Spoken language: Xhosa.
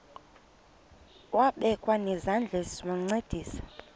wabekwa nezandls wancedisa